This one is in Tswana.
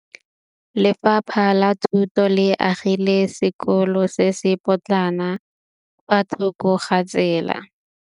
Lefapha la Thuto le agile sekôlô se se pôtlana fa thoko ga tsela.